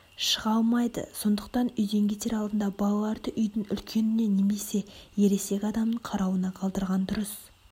шыға алмайды сондықтан үйден кетер алдында балаларды үйдің үлкеніне немесе ересек адамның қарауына қалдырған дұрыс